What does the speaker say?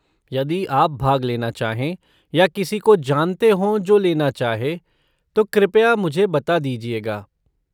यदि आप भाग लेना चाहे या किसी को जानते हो जो लेना चाहे, तो कृपया मुझे बता दीजिएगा।